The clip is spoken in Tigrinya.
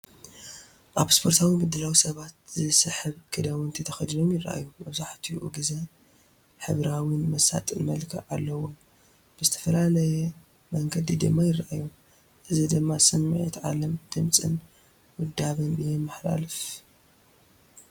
ኣብ ስፖርታዊ ምድላው ሰባት ዝስሕብ ክዳውንቲ ተኸዲኖም ይራኣዩ፡፡ መብዛሕትኡ ግዜ ሕብራዊን መሳጥን መልክዕ ኣለዎም፣ ብዝተፈላለየ መንገዲ ድማ ይርኣዩ። እዚ ድማ ስምዒት ዓለም ድምጽን ውዳበን የመሓላልፍ።